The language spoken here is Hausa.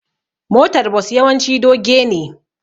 motar Bus yawanci doge ne